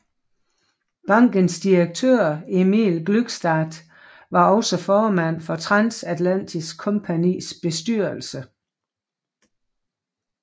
Bankens direktør Emil Glückstadt var også formand for Transatlantisk Kompagnis bestyrelse